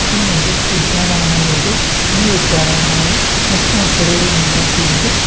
ಇದು ಒಂದು ಉದ್ಯಾನವನವು ಇದೆ ಈ ಉದ್ಯಾನವನವು ಹಚ್ಚ ಹಸುರುವಿನಿಂದ ಕೂಡಿದೆ.